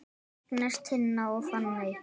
Agnes, Tinna og Fanney.